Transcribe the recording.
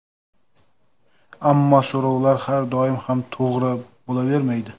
Ammo so‘rovlar har doim ham to‘g‘ri bo‘lavermaydi.